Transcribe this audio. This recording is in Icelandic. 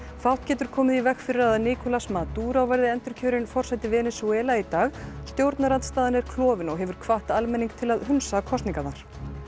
fátt getur komið í veg fyrir að að Nicolas Maduro verði endurkjörinn forseti Venesúela í dag stjórnarandstaðan er klofin og hefur hvatt almenning til að hunsa kosningarnar